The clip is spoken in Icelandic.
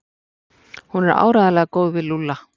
Hún er áreiðanlega góð við Lúlla.